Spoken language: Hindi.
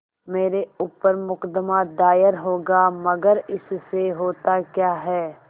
मेरे ऊपर मुकदमा दायर होगा मगर इससे होता क्या है